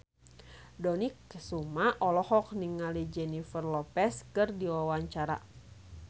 Dony Kesuma olohok ningali Jennifer Lopez keur diwawancara